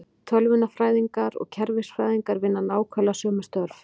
Tölvunarfræðingar og kerfisfræðingar vinna nákvæmlega sömu störf.